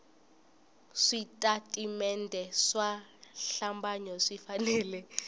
switatimende swa xihlambanyo swi fanele